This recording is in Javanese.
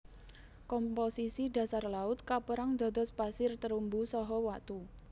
Komposisi dhasar laut kaperang dados pasir terumbu saha watu